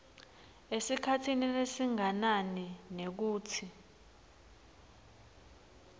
esikhatsini lesinganani nekutsi